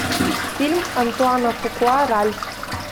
фильм антуана фукуа ральф